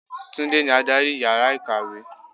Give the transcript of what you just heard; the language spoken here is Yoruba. Túndé ní adárì ìyára ìkàwé.